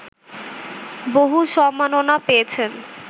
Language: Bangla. বহু সম্মাননা পেয়েছেন